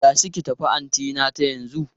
Tashi ki tafi antinata yanzu!